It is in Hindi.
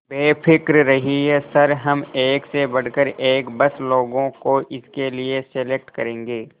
बेफिक्र रहिए सर हम एक से बढ़कर एक बस लोगों को इसके लिए सेलेक्ट करेंगे